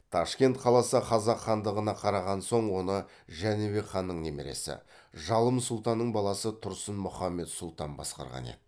ташкент қаласы қазақ хандығына қараған соң оны жәнібек ханның немересі жалым сұлтанның баласы тұрсын мұхаммед сұлтан басқарған еді